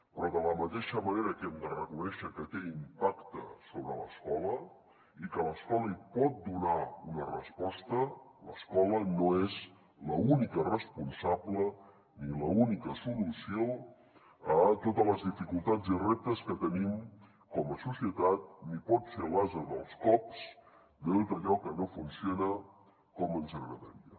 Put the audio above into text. però de la mateixa manera que hem de reconèixer que té impacte sobre l’escola i que l’escola hi pot donar una resposta l’escola no és l’única responsable ni l’única solució a totes les dificultats i reptes que tenim com a societat ni pot ser l’ase dels cops de tot allò que no funciona com ens agradaria